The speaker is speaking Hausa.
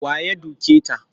Wa ya duke ta?